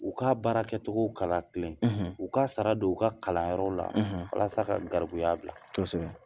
U ka baara kɛtogo kalan kilen u k'a sara don, u ka kalanyɔrɔ walasa ka garibuya bila kosɛb